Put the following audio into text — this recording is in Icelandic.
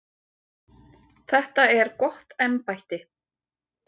Þetta er gott embætti.